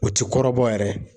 O ti kɔrɔbɔ yɛrɛ